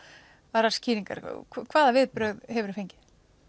aðrar skýringar hvaða viðbrögð hefur þú fengið